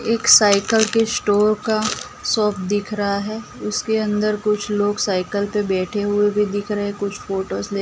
एक साइकल के स्टोर का शॉप दिख रहा है उसके अंदर कुछ लोग साइकल पे बैठे हुए भी दिख रहे कुछ फोटोस --